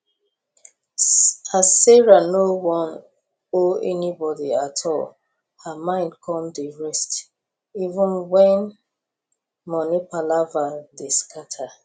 as sarah no wan owe anybody at all her mind come dey rest even wen money palava dey scatter